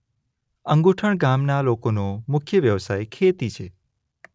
અંગુઠણ ગામના લોકોનો મુખ્ય વ્યવસાય ખેતી છે.